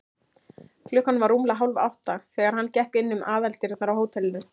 Klukkan var rúmlega hálfátta, þegar hann gekk inn um aðaldyrnar á hótelinu.